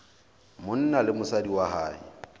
monna le mosadi wa hae